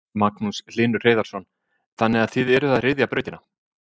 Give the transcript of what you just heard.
Magnús Hlynur Hreiðarsson: Þannig að þið eruð að ryðja brautina?